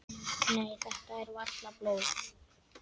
Nei, þetta er varla blóð.